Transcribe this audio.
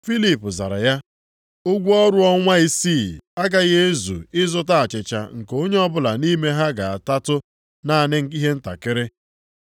Filip zara ya, “Ụgwọ ọrụ ọnwa isii agaghị ezu ịzụta achịcha nke onye ọbụla nʼime ha ga-atatụ naanị ihe ntakịrị.”